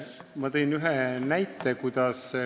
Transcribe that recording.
Ma tõin ühe näite.